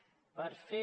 per fer